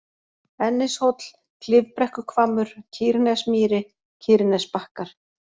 Ennishóll, Klifbrekkuhvammur, Kýrnesmýri, Kýrnesbakkar